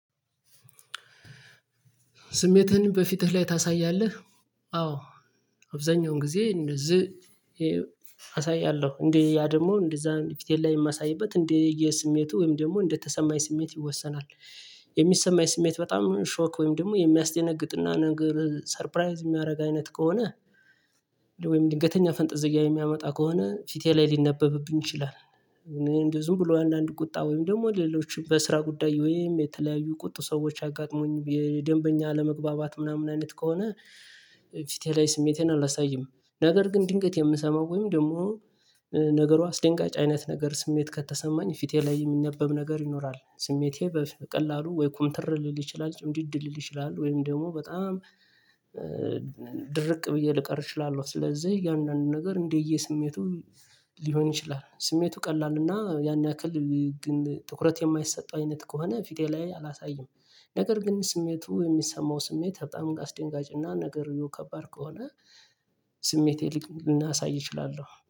ስሜትህን በፊትህ ላይ ታሳያለህ? አዎ አብዛኛውን ጊዜ እንደዚህ አሳያለሁ እንደ ያ ደግሞ እንደዛ ፊቴን ላይ የማሳይበት እንደ የስሜቱ ወይም ደግሞ እንደተሰማኝ ስሜት ይወሰናል። የሚሰማኝ ስሜት በጣም ሾክ ወይም ደግሞ የሚያስደነግጥና ነገር ሰርፕራይዝ የሚያደርግ አይነት ከሆነ ወይም ድንገተኛ ፈንጠዝያ የሚያመጣ ከሆነ ፊቴ ላይ ሊነበብብኝ ይችላል። ዝም ብሎ አንዳንድ ቁጣ ወይም ደግሞ ሌሎችም በስራ ጉዳይ ወይም የተለያዩ ቁጡ ሰዎች አጋጥሞኝ የደንበኛ አለመግባባት ምናምን አይነት ከሆነ። ፊቴ ላይ ስሜቴን አላሳይም። ነገር ግን ድንገት የምሰማው ወይም ደግሞ ነገሩ አስደንጋጭ አይነት ነገር ስሜት ከተሰማኝ ፊቴ ላይ የሚነበብ ነገር ይኖራል ስሜቴ በቀላሉ ወይ ኩምትር ሊል ይችላል ጭምድድል ሊል ይችላል ወይም ደግሞ በጣም ድርቅ ብዬ ልቀር እችላለሁ። ስለዚህ እያንዳንዱ ነገር እንደየ ስሜቱ ሊሆን ይችላል ስሜቱ ቀላል እና ያን ያክል ግን ትኩረት የማይሰጠው አይነት ከሆነ ፊቴ ላይ አላሳይም። ነገር ግን ስሜቱ የሚሰማው ስሜት በጣም አስደንጋጭና ነገርየው ከባድ ከሆነ ስሜቴን ሊቅ ላሳይ እችላለሁ